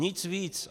Nic víc.